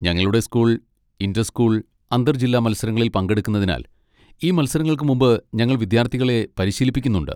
ഞങ്ങളുടെ school inter school, അന്തർ ജില്ലാ മത്സരങ്ങളിൽ പങ്കെടുക്കുന്നതിനാൽ, ഈ മത്സരങ്ങൾക്ക് മുമ്പ് ഞങ്ങൾ വിദ്യാർത്ഥികളെ പരിശീലിപ്പിക്കുന്നുണ്ട്.